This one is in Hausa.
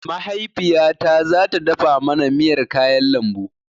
Mahaifiyata zata dafa mana miyar kayan lambu